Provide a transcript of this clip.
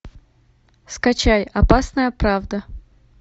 скачай опасная правда